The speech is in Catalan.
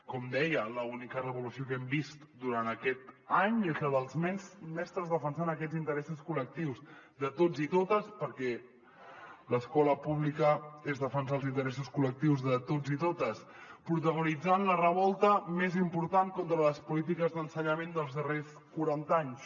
com deia l’única revolució que hem vist durant aquest any és la dels mestres defensant aquests interessos col·lectius de tots i totes perquè l’escola pública és defensar els interessos col·lectius de tots i totes protagonitzant la revolta més important contra les polítiques d’ensenyament dels darrers quaranta anys